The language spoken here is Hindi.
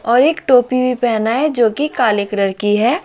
और एक टोपी भी पहना है जो कि काले कलर की है।